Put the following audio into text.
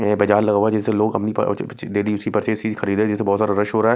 यह बाजार लगा हुआ है जिससे लोग अपनी चीजे खरीद रहे हैं बहुत ज्यादा रश हो रहा है।